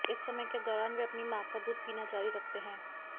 इस समय के दौरान वे अपनी मां का दूध पीना जारी रखते हैं